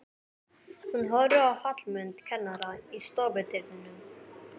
Hún horfir á Hallmund kennara í stofudyrunum.